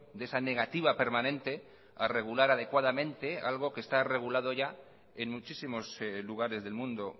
de esa negativa permanente a regular adecuadamente algo que está regulado ya en muchísimos lugares del mundo